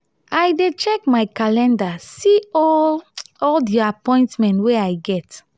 i dey check my calendar see all all di appointment wey i get.